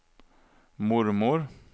mormor